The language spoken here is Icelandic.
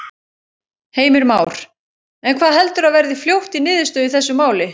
Heimir Már: En hvað heldurðu að verði fljótt í niðurstöðu í þessu máli?